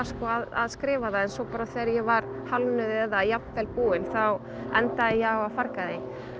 að skrifa það en svo þegar ég var hálfnuð eða jafnvel búin þá endaði ég á að farga því